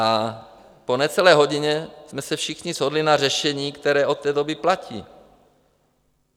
A po necelé hodině jsme se všichni shodli na řešení, které od té doby platí.